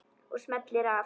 Og smellir af.